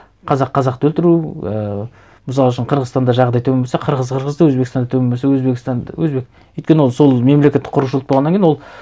қазақ қазақты өлтіру ііі мысал үшін қырғызстанда жағдай төмен болса қырғыз қырғызды өзбекстанда төмен болса өзбек өйткені ол сол мемлекетті құрушылық болғаннан кейін ол